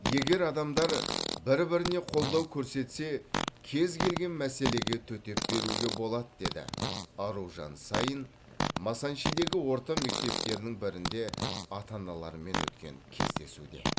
егер адамдар бір біріне қолдау көрсетсе кез келген мәселеге төтеп беруге болады деді аружан саин масанчидегі орта мектептердің бірінде ата аналармен өткен кездесуде